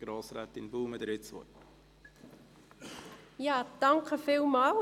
Grossrätin Baumann, Sie haben das Wort.